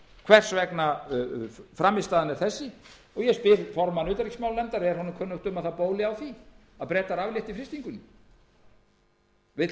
hvers vegna frammistaðan er þessi og ég spyr formann utanríkismálanefndar er honum kunnugt um að það bóli á því að bretar aflétti frystingunni vill alþingi